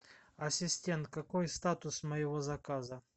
ассистент какой статус моего заказа